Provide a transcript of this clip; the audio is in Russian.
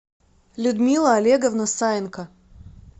людмила олеговна саенко